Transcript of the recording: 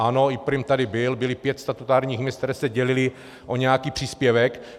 Ano, i prim tady byl, bylo pět statutárních měst, která se dělila o nějaký příspěvek.